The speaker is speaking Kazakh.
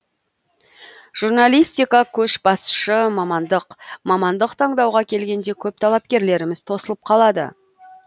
журналистика көшбасшы мамандық мамандық таңдауға келгенде көп талапкерлеріміз тосылып қалады